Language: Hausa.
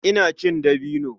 Ina cin dabino.